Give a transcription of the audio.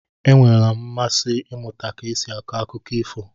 E nweela m mmasị ịmụta ka esi akọ akụkọ ifo.